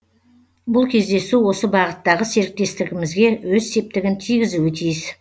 бұл кездесу осы бағыттағы серіктестігімізге өз септігін тигізуі тиіс